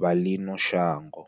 vha ḽino shango.